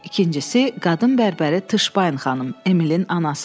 İkincisi, qadın bərbəri Tışbayn xanım, Emilin anası.